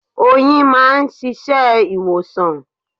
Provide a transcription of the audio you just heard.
Oyin máà ń ṣiṣẹ́ ìwòsàn.